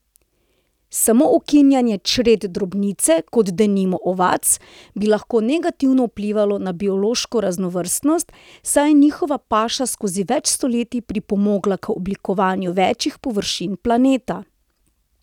Samo ukinjanje čred drobnice, kot denimo ovac, bi lahko negativno vplivalo na biološko raznovrstnost, saj je njihova paša skozi več stoletij pripomogla k oblikovanju večjih površin planeta.